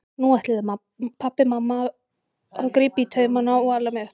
Nú ætluðu pabbi og mamma að grípa í taumana og ala mig upp.